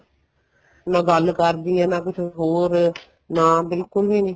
ਨਾ ਗੱਲ ਕਰਦੀ ਏ ਨਾ ਕੁੱਛ ਹੋਰ ਨਾ ਬਿਲਕੁਲ ਵੀ ਨਹੀਂ